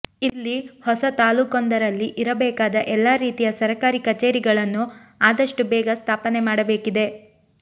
ಇಲ್ಲಿ ಹೊಸ ತಾಲೂಕೊಂದರಲ್ಲಿ ಇರಬೇಕಾದ ಎಲ್ಲಾ ರೀತಿಯ ಸರಕಾರಿ ಕಚೆೇರಿಗಳನ್ನು ಆದಷ್ಟು ಬೇಗ ಸ್ಥಾಪನೆ ಮಾಡಬೇಕಿದೆ